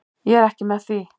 Ég er ekki með því.